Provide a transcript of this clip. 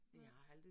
Nej